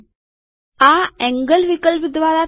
આ એન્ગલ વિકલ્પ દ્વારા થાય છે